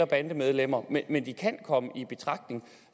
bandemedlemmer men de kan komme i betragtning